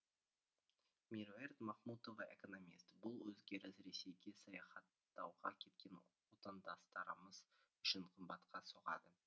меруерт махмұтова экономист бұл өзгеріс ресейге саяхаттауға кеткен отандастарымыз үшін қымбатқа соғады